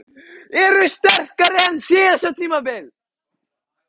Erum við sterkari en á síðasta tímabili?